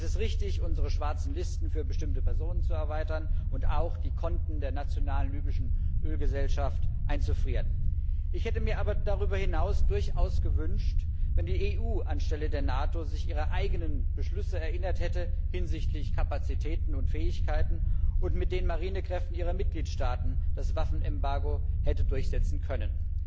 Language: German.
Es ist richtig, unsere schwarzen Listen für bestimmte Personen zu erweitern und auch die Konten der nationalen libyschen Ölgesellschaft einzufrieren. Ich hätte mir aber darüber hinaus durchaus gewünscht, dass sich die EU anstelle der NATO ihrer eigenen Beschlüsse hinsichtlich Kapazitäten und Fähigkeiten erinnert hätte und mit den Marinekräften ihrer Mitgliedstaaten das Waffenembargo hätte durchsetzen können.